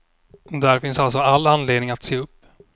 Där finns alltså anledning att se upp.